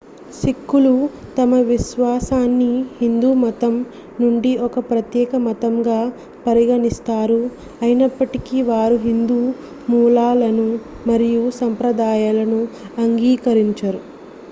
సిక్కులు తమ విశ్వాసాన్ని హిందూ మతం నుండి ఒక ప్రత్యేక మతంగా పరిగణిస్తారు అయినప్పటికీ వారు హిందూ మూలాలను మరియు సంప్రదాయాలను అంగీకరించారు